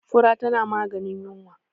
fura tana maganin yinwa